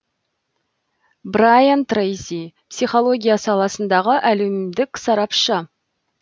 брайан трейси психология саласындағы әлемдік сарапшы